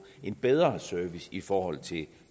en bedre service i forhold til